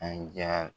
An diya